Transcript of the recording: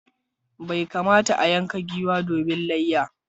Bai kamata a yanka giwa domin layya.